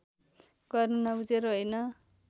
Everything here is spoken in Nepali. गर्नु नबुझेर होइन